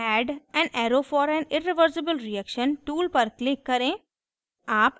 add an arrow for an irreversible reaction tool पर click करें